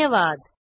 धन्यवाद